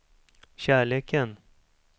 kärleken